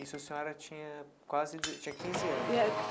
Isso a senhora tinha quase deze tinha quinze anos, né?